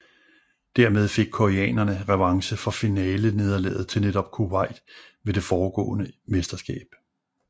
Dermed fik koreanerne revanche for finalenederlaget til netop Kuwait ved det foregående mesterskab